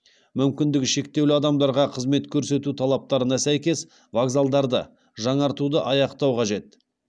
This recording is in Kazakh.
мүмкіндігі шектеулі адамдарға қызмет көрсету талаптарына сәйкес вокзалдарды жаңартуды аяқтау қажет